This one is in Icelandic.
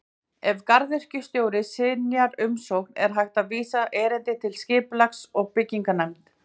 Ef garðyrkjustjóri synjar umsókn er hægt að vísa erindi til Skipulags- og bygginganefndar.